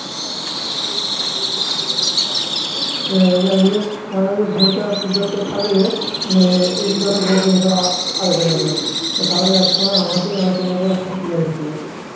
এই এদিকে মাঝে মাঝে আর figure তো থাকলে মানে আলোচনা করে তাহলে এক সময় আমাকে নিয়ে আলোচনা করে কি guarantee আছে